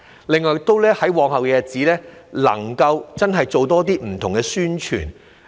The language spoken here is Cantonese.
另外，在往後的日子，能夠真的做更多不同的宣傳。